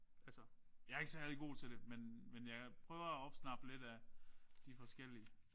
Altså jeg er ikke særlig god til det men men jeg prøver at opsnappe lidt af de forskellige